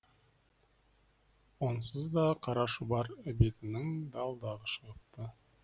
онсыз да қара шұбар ібетінің дал далы шығыпты